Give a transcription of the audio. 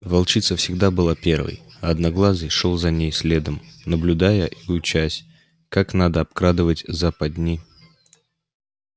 волчица всегда была первой а одноглазый шёл за ней следом наблюдая и учась как надо обкрадывать западни